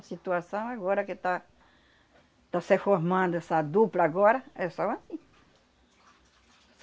A situação agora que tá, tá se formando essa dupla agora, é só assim.